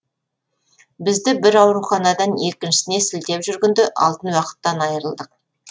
бізді бір ауруханадан екіншісіне сілтеп жүргенде алтын уақыттан айырылдық